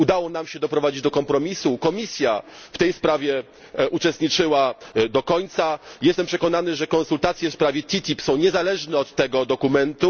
Udało nam się doprowadzić do kompromisu, Komisja w tej sprawie uczestniczyła do końca i jestem przekonany, że konsultacje w s TTIP są niezależne od tego dokumentu.